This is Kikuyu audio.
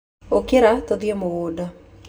Ũkĩrai tũthiĩ mũgũnda.